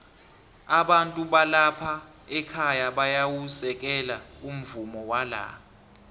abantu balapha ekhaya bayawusekela umvumo wala